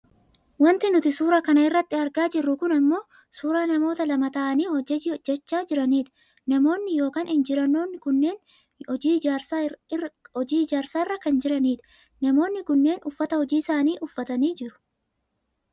Wanti nuti suura kana irratti argaa jirru kun ammoo suuraa namoota lama ta'anii hojii hojjachaa jiranidha. Namoonni yookaan Injiineroonni kunneen hojii ijaarsaarra kan jiranidha. Namoonni kunneen uffata hojii isaanii uffataniit jiru.